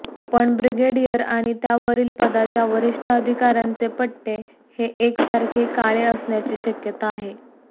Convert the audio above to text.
पण ब्रिगेडियर आणि त्यावरील पदाच्या वरिष्ठ अधिकाऱ्यांचे पट्टे हे एकसारखे काळे असण्याची शक्यता आहे